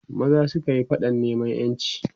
maza sukayi faɗan neman ƴanci